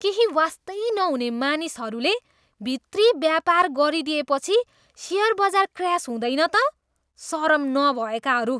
केही वास्तै नहुने मानिसहरूले भित्री व्यापार गरिएदिएपछि सेयर बजार क्र्यास हुँदैन त? सरम नभएकाहरू!